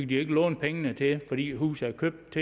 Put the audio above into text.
de ikke låne pengene til det fordi huset er købt